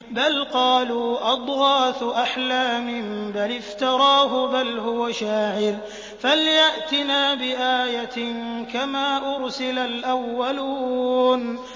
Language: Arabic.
بَلْ قَالُوا أَضْغَاثُ أَحْلَامٍ بَلِ افْتَرَاهُ بَلْ هُوَ شَاعِرٌ فَلْيَأْتِنَا بِآيَةٍ كَمَا أُرْسِلَ الْأَوَّلُونَ